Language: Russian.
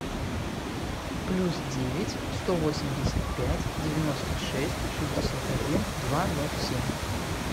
плюс девять сто восемьдесят пять девяносто шесть шестьдесят один два ноль семь